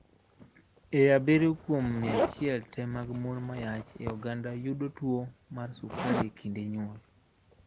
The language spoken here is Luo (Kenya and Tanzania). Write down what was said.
Ee abirio kuom 100 tee mag mon mayach e oganda yudo tuwo mar sukari e kinde nyuol